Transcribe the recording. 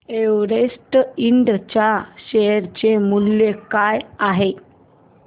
Everest Ind च्या share चे मूल्य काय आहे